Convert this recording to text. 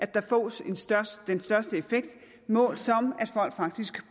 der fås den største effekt målt som at folk faktisk